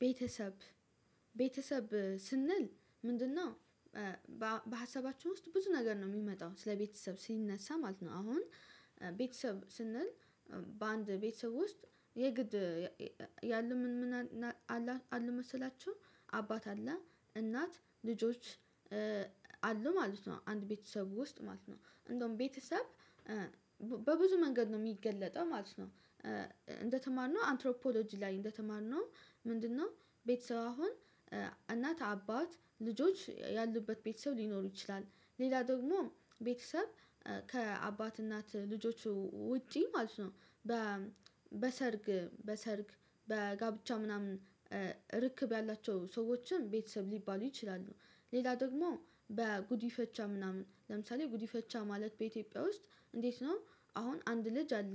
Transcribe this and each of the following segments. ቤተሰብ ቤተሰብ ስንል ምንድነው? በሀሳባችው ውስጥ ብዙ ነገር ነው የሚመጣው ስለቤተሰብ ሲነሳ ማለት ነው። አሁን ቤተሰብ ስንል በአንድ ቤተሰብ ውስጥ የግድ ያለ ምን ምን አለ መሰላችሁ? አባት አለ እናት ልጆች አሉ ማለት ነው። አንድ ቤተሰብ ውስጥ ማለት ነው እንደውም ቤተሰብ በብዙ መንገድ ነው የሚገለጠው ማለት ነው። እንደተማርነው አንትሮፖሎጂ ላይ እንደተማርነው ምንድነው? ቤተሰብ አሁን እናት አባት ልጆች ያሉበት ቤተሰብ ሊኖሩ ይችላል ሌላ ደግሞ ቤተሰብ ከአባት እናት ልጆቹ ውጪ ማለት ነው። በሰርግ በሰርግ በጋብቻ ምናምን ርክብ ያላቸው ሰዎችን ቤተሰብ ሊባሉ ይችላሉ። ሌላ ደግሞ በጉዲፈቻ ምናምን ለምሳሌ ጉዲፈቻ ማለት በኢትዮጵያ ውስጥ እንዴት ነው? አሁን አንድ ልጅ አለ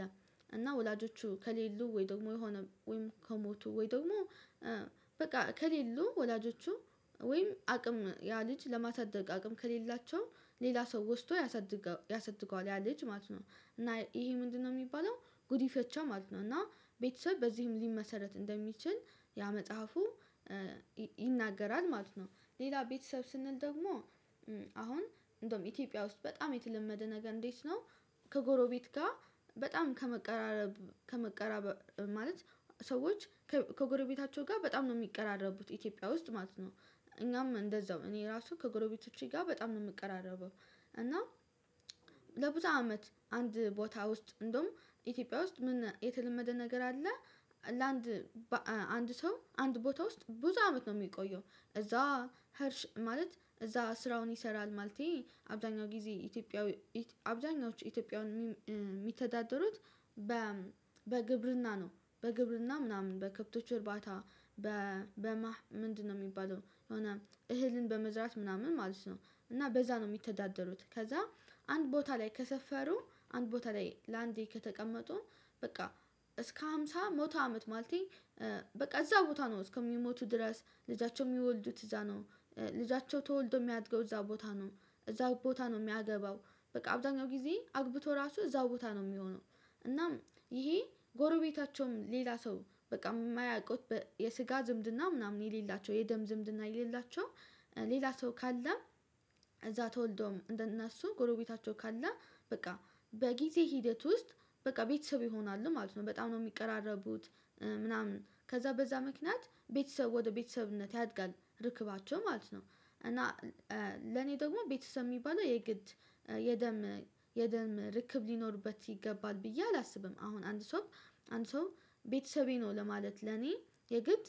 እና ወላጆቹ ከሌሉ ወይ ደግሞ የሆነ ወይም ከሞቱ ወይ ደግሞ በቃ ከሌሉ ወላጆቹ ወይም አቅም ያ ልጅ ለማሳደግ አቅም ከሌላቸው ሌላ ሰው ወስዶ ያሳድገዋል ያ ልጅ ማለት ነው። እና ይሄ ምንድነው የሚባለው ጉዲፈቻ ማለት ነው። እና ቤተሰብ በዚህም ሊመሰረት እንደሚችል ያ መጽሐፉ ይናገራል ማለት ነው። ሌላ ቤተሰብ ስንል ደግሞ አሁን እንደውም ኢትዮጵያ ውስጥ በጣም የተለመደ ነገር እንዴት ነው? ከጎረቤት ጋር በጣም ከመቀራረብ ከመቀራበር ማለት ሰዎች ከጎረቤታቸው ጋር በጣም ነው የሚቀራረቡት ኢትዮጵያ ውስጥ ማለት ነው። እኛም እንደዛው እኔ ራሱ ከጎረቤቶቼ ጋር በጣም ነው የምቀራረበው። እና ለብዙ አመት አንድ ቦታ ውስጥ እንደውም ኢትዮጵያ ውስጥ ምን የተለመደ ነገር አለ? ለአንድ አንድ ሰው አንድ ቦታ ውስጥ ብዙ አመት ነው የሚቆየው እዛ ሄርሽ ማለት እዛ ስራውን ይሰራል ማለቴ አብዛኛው ጊዜ ኢትዮጵያዊ አብዛኛዎቹ ኢትዮጵያዊ የሚተዳደሩት በ በግብርና ነው። በግብርና ምናምን በከብቶች እርባታ በማህ ምንድነው የሚባለው የሆነ እህልን በመዝራት ምናምን ማለት ነው። እና በዛ ነው የሚተዳደሩት ከዛ አንድ ቦታ ላይ ከሰፈሩ አንድ ቦታ ላይ ለአንዴ ከተቀመጡ በቃ እስከ ሃምሳ መቶ አመት ማለቴ በቃ እዛ ቦታ ነው እስከሚሞቱ ድረስ ልጃቸው የሚወልዱት እዛ ነው። ልጃቸው ተወልዶ የሚያድገው እዛ ቦታ ነው። እዛ ቦታ ነው የሚያገባው በቃ አብዛኛው ጊዜ አግብቶ ራሱ እዛው ቦታ ነው የሚሆነው። እናም ይሄ ጎረቤታቸውም ሌላ ሰው በጣም የማያውቁት የስጋ ዝምድና ምናምን የሌላቸው የደም ዝምድና የሌላቸው ሌላ ሰው ካለ እዛ ተወልዶም እንደነሱ ጎረቤታቸው ካለ በቃ በጊዜ ሂደት ውስጥ በቃ ቤተሰብ ይሆናል ማለት ነው። በጣም ነው የሚቀራረቡት ምናምን ከዛ በዛ ምክንያት ቤተሰብ ወደ ቤተሰብነት ያድጋል ርክባቸው ማለት ነው። እና ለኔ ደግሞ ቤተሰብ የሚባለው የግድ የደም የደም ርክብ ሊኖርበት ይገባል ብዬ አላስብም። አሁን አንድ ሰው አንድ ሰው ቤተሰቤ ነው ለማለት ለኔ የግድ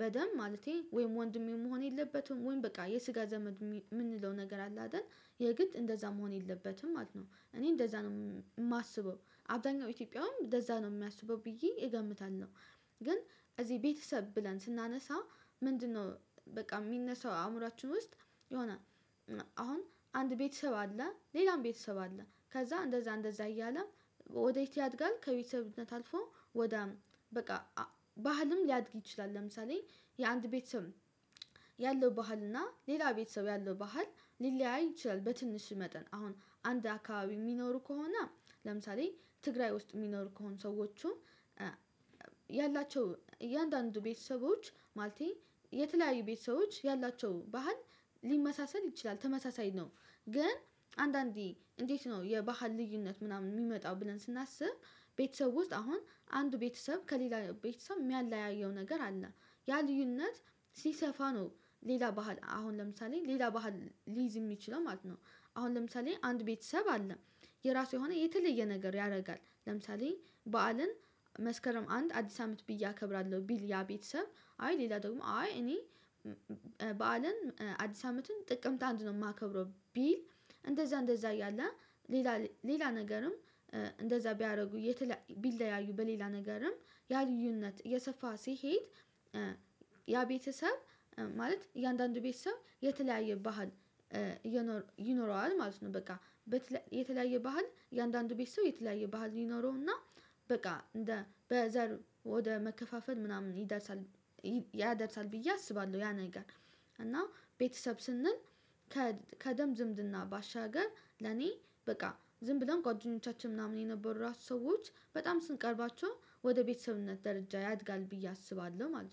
በደም ማለቴ ወይም ወንድሜው መሆን የለበትም ወይም በቃ የስጋ ዘመድ የምንለው ነገር አለ አይደል? የግድ እንደዛ መሆን የለበትም ማለት ነው። እኔ እንደዛ ነው የማስበው አብዛኛው ኢትዮጵያውያን እንደዛ ነው የሚያስበው ብዬ እገምታለው። ግን እዚህ ቤተሰብ ብለን ስናነሳ ምንድነው? በቃ የሚነሳው አእምሮአችን ውስጥ የሆነ አሁን አንድ ቤተሰብ አለ ሌላም ቤተሰብ አለ ከዛ እንደዛ እንደዛ እያለ ወዴት ያድጋል ከቤተሰብነት አልፎ ወደ በቃ ባህልም ሊያድግ ይችላል። ለምሳሌ የአንድ ቤተሰብ ያለው ባህልና ሌላ ቤተሰብ ያለው ባህል ሊለያይ ይችላል። በትንሽ መጠን አሁን አንድ አካባቢ የሚኖሩ ከሆነ። ለምሳሌ ትግራይ ውስጥ የሚኖር ከሆኑ ሰዎቹ ያላቸው እያንዳንዱ ቤተሰቦች ማለቴ የተለያዩ ቤተሰቦች ያላቸው ባህል ሊመሳሰል ይችላል ተመሳሳይ ነው። ግን አንዳንዴ እንዴት ነው የባህል ልዩነት ምናምን የሚመጣው ብለን ስናስብ። ቤተሰብ ውስጥ አሁን አንዱ ቤተሰብ ከሌላ ቤተሰብ የሚያለያየው ነገር አለ። ያ ልዩነት ሲሰፋ ነው ሌላ ባህል አሁን ለምሳሌ ሌላ ባህል ሊይዝ የሚችለው ማለት ነው። አሁን ለምሳሌ አንድ ቤተሰብ አለ። የራሱ የሆነ የተለየ ነገር ያደርጋል ለምሳሌ በዓልን መስከረም አንድ አዲስ አመት ብዬ አከብራለሁ ቢል ያ ቤተሰብ አይ ሌላ ደግሞ አይ እኔ በዓልን አዲስ አመትን ጥቅምት አንድ ነው የማከብረው። ቢል እንደዛ እንደዛ እያለ ሌላ ሌላ ነገርም እንደዛ ቢያደርጉ ቢለያዩ በሌላ ነገርም ያ ልዩነት የሰፋ ሲሄድ ያ ቤተሰብ ማለት የእያንዳንዱ ቤተሰብ የተለያየ ባህል የኖረ ይኖረዋል ማለት ነው። በቃ የተለያየ ባህል እያንዳንዱ ቤት ሰው የተለያየ ባህል ይኖረውና በቃ በዘር ወደ መከፋፈል ምናምን ይደርሳል ያደርሳል ብዬ አስባለሁ። ያ ነገር እና ቤተሰብ ስንል ከደም ዝምድና ባሻገር ለኔ በቃ ዝም ብለን ቋጁኞቻችን ምናምን የነበሩት ራሱ ሰዎች በጣም ስንቀርባቸው ወደ ቤተሰብነት ደረጃ ያድጋል ብዬ አስባለሁ። ማለት ነው